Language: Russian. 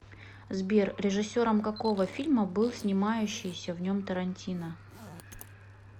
сбер режиссером какого фильма был снимающиися в нем тарантино